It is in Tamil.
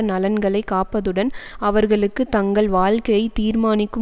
நலன்களை காப்பதுடன் அவர்களுக்கு தங்கள் வாழ்க்கையை தீர்மானிக்கும்